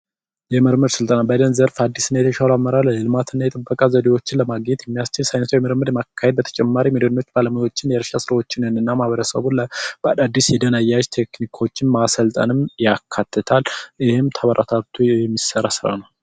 የምርምር ስልጠና ዘዴዎችን ለማግኘት የሚያስችል የምርምር ዘዴ የተለያዩ ባለሙያዎችንና ማበረሰቡን በአዲስ ልዩ አያያዝ የተለያዩ ቴክኒኮችንም በማሰልጠን የካትታል ይህም ተበረታቶ የሚሠራ ስራ ነው።